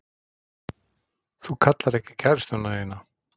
Þú kallar ekki kærustuna þína.